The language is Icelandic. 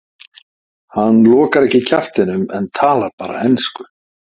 Hann lokar ekki kjaftinum en talar bara ensku.